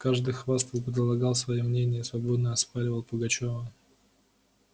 каждый хвастал предлагал свои мнения и свободно оспоривал пугачёва